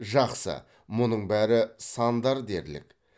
жақсы мұның бәрі сандар дерлік